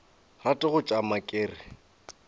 rate go tšama ke re